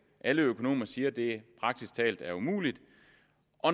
alle økonomer siger at det praktisk talt er umuligt